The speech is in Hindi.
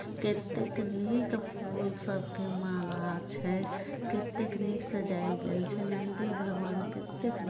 कित्तेक नीक फूल सब के माला छै कित्ते नीक सजायक गायल छै नन्दी भगवान कित्तेक--